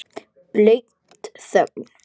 Blaut þögn.